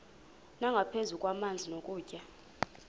nangaphezu kwamanzi nokutya